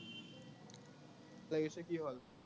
বেয়া লাগিছে, কি হল?